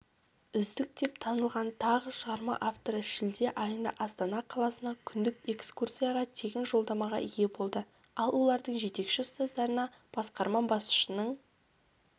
үздік деп танылған тағы шығарма авторы шілде айында астана қаласына күндік экскурцияға тегін жолдамаға ие болды ал олардың жетекші-ұстаздарына басқарма басшысының